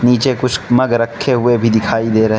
नीचे कुछ मग रखे हुए भी दिखाई दे रहे --